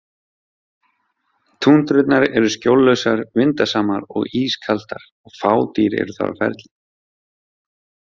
Túndrurnar eru skjóllausar, vindasamar og ískaldar og fá dýr eru þar á ferli.